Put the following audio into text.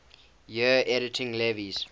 years editing lewes's